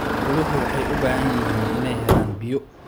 Xooluhu waxay u baahan yihiin inay helaan biyo.